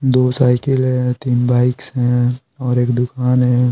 दो साइकिल है तीन बाइक्स हैऔर एक दुकान है।